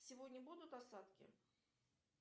сегодня будут осадки